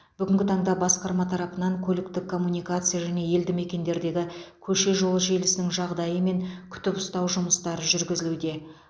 бүгінгі таңда басқарма тарапынан көліктік коммуникация және елді мекендердегі көше жолы желісінің жағдайы мен күтіп ұстау жұмыстары жүргізілуде